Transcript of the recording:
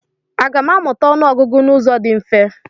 Aga m amụta ọnụọgụgụ n'ụzọ dị mfe?